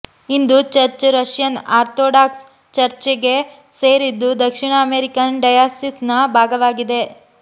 ಇಂದು church Russian Orthodox ಚರ್ಚ್ಗೆ ಸೇರಿದ್ದು ದಕ್ಷಿಣ ಅಮೇರಿಕನ್ ಡಯಾಸಿಸ್ನ ಭಾಗವಾಗಿದೆ